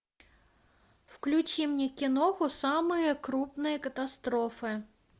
включи мне киноху самые крупные катастрофы